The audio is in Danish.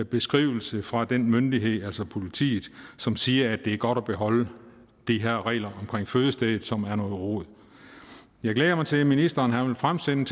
beskrivelse fra den myndighed altså politiet som siger at det er godt at beholde de her regler omkring fødestedet som er noget rod jeg glæder mig til at ministeren vil fremsende